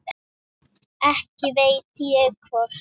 Ekki veit ég hvort